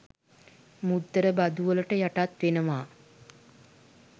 මුද්දර බදු වලට යටත් වෙනවා.